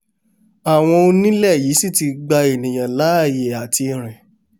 àwọn onílẹ̀ yìí sì ti gba ènìà láàyè àti rìn